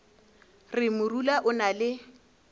re morula o na le